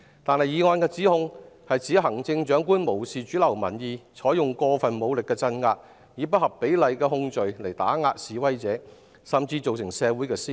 但議案的指控是說行政長官無視主流民意，鎮壓示威並採用過分武力，以不合比例的控罪打壓示威者，甚至造成社會撕裂。